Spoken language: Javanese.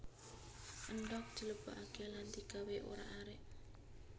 Endhog dilebokake lan digawé orak arik